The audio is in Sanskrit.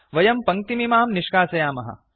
वयं पङ्क्तिमिमां निष्कासयामः